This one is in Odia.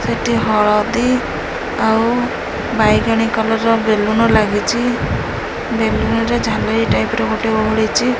ଏଠି ହଳଦୀ ଆଉ ବାଇଗଣୀ କଲର୍ ର ବେଲୁନ ଲାଗିଚି। ବେଲୁନ ରେ ଝାଲେରୀ ଟାଇପ୍ ର ମଧ୍ୟ ଓହଳିଚି।